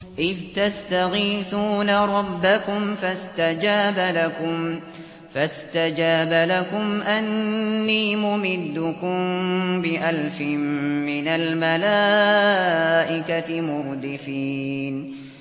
إِذْ تَسْتَغِيثُونَ رَبَّكُمْ فَاسْتَجَابَ لَكُمْ أَنِّي مُمِدُّكُم بِأَلْفٍ مِّنَ الْمَلَائِكَةِ مُرْدِفِينَ